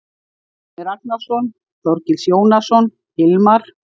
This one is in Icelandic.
Árni Ragnarsson, Þorgils Jónasson, Hilmar